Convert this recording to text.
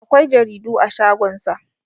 akwai jaridu a shagonsa